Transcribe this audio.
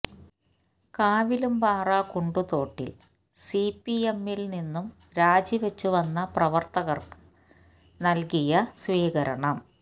കാവിലുംപാറ കുണ്ടുതോട്ടില് സിപിഎമ്മില് നിന്നും രാജിവെച്ചു വന്ന പ്രവര്ത്തകര്ക്ക് നല്കിയ സ്വീകരണ